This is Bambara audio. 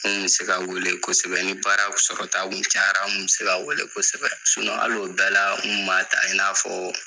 N mi se ka weele kosɛbɛ ni baara sɔrɔtaw cayara, a mi se ka wele kosɛbɛ hali o bɛɛ la, n ma taa, i n'a fɔ